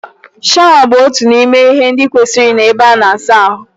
Shawa bụ otu n'ime ihe ndị kwesịrị ịnọ n'ebe ana asa ahụ